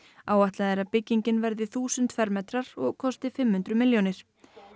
áætlað er að byggingin verði þúsund fermetrar og kosti fimm hundruð milljónir